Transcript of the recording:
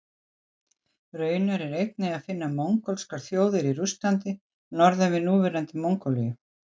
Raunar er einnig að finna mongólskar þjóðir í Rússlandi norðan við núverandi Mongólíu.